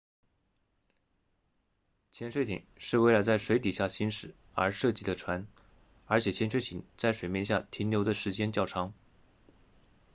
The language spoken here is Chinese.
潜水艇是为了在水底下行驶而设计的船而且潜水艇在水面下停留的时间较长